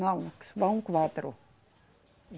Não, vão quatro.